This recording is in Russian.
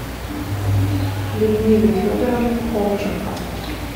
людмиле федоровне хомченко